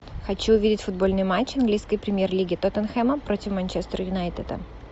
хочу увидеть футбольный матч английской премьер лиги тоттенхэма против манчестер юнайтеда